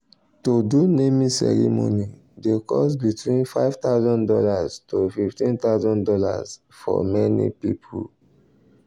to do naming ceremony dey cost between five thousand dollars tofifteen thousand dollarsfor many people.